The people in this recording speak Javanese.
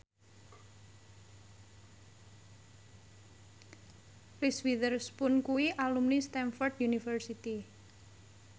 Reese Witherspoon kuwi alumni Stamford University